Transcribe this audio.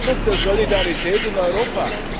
Das ist Ausdruck der Solidarität in Europa.